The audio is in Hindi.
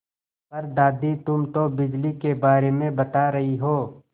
पर दादी तुम तो बिजली के बारे में बता रही हो